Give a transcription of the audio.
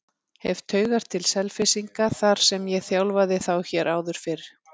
Hef taugar til Selfyssinga þar sem ég þjálfaði þá hér áður fyrr.